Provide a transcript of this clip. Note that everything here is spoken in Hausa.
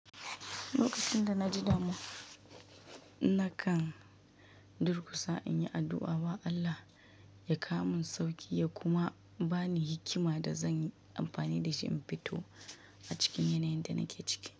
Lokacin da na ji damuwa, nakan durkusa in yi addu'a wa Allah ya kawo min sauki ya kuma ba ni hikima da zan yi amfani da shi in fito a cikin yanayin da nake ciki.